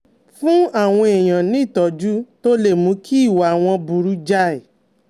Fún àwọn èèyàn ní ìtọ́jú tó lè mú kí ìwà wọn burú jáì